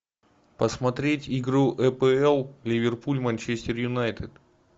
посмотреть игру апл ливерпуль манчестер юнайтед